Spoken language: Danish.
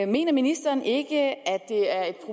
mener ministeren ikke at at